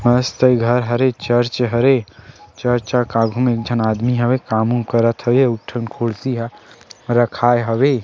मस्त ए घर हरे चर्च हरे चर्च के आघू म एक झन आदमी हवे काम उम करत हवे अउ एक ठन खुर्सी ह रखाए हवे।